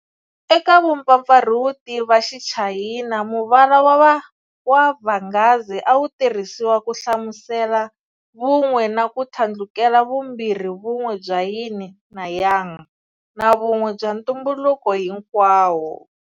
Eka vupfapfarhuti va xichayina, muvala wa vhangazi a wu tirhisiwa ku hlamusela vun'we na ku thlandlukela vumbirhivumn'we bya yin na yang na Vun'we bya ntumbuluko hi nkwawo.